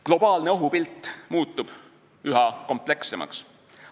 Globaalne ohupilt muutub üha komplekssemaks.